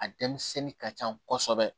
A denmisɛnnin ka can kosɛbɛ